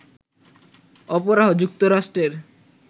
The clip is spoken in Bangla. অপরাহ, যুক্তরাষ্ট্রের